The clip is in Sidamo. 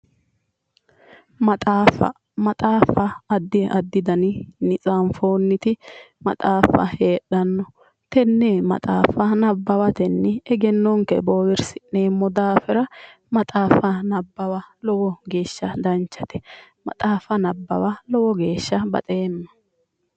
Maxaaffa. Maxaaffa addi addi daninni tsaanfoonniti maxaaffa heedhanno. Tenne maxaaffa nabbawatenni egennonke boowirsi'neemmo daafira maxaaffa nabbawa lowo geeshsha danchate. Maxaaffa nabbawa lowo geeshsha baxeemma.